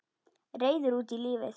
Reiður út í lífið.